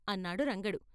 " అన్నాడు రంగడు.